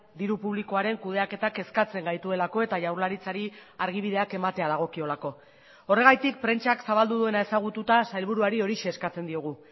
diru publikoaren kudeaketak kezkatzen gaituelako eta jaurlaritzari argibideak ematea dagokiolako horregatik prentsak zabaldu duena ezagututa sailburuari horixe eskatzen diogu